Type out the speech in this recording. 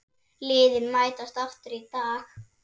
Liðin mætast aftur í dag.